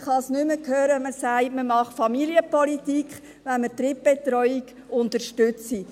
Ich kann es nicht mehr hören, wenn man sagt, man mache Familienpolitik, wenn man die Drittbetreuung unterstützt.